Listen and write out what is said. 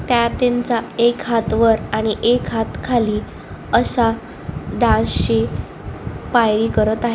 त्या त्यांचा एक हात वर आणि एक हात खाली असा डान्स ची करत आहे.